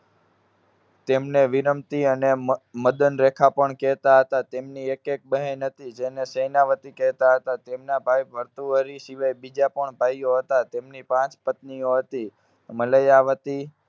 તેમને વિનમતી અને મ~મદનરેખા પણ કહેતા હતા. તેમની એક, એક બહેન હતી, જેને સેનાવતી કહેતા હતા. તેમના ભાઈ ભર્તુહરિ સિવાય બીજા પણ ભાઈઓ હતા. તેમની પાંચ પત્નીઓ હતી. મલયાવતી,